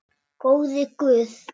Góði Guð.